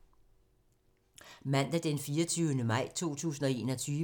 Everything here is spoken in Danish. Mandag d. 24. maj 2021